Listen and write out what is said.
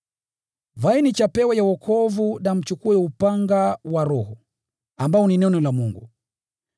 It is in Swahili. Vaeni chapeo ya wokovu na mchukue upanga wa Roho, ambao ni Neno la Mungu.